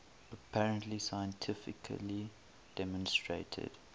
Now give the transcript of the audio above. apparently scientifically demonstrated